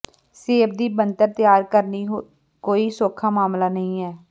ਸੇਬ ਦੀ ਬਣਤਰ ਤਿਆਰ ਕਰਨੀ ਕੋਈ ਸੌਖਾ ਮਾਮਲਾ ਨਹੀਂ ਹੈ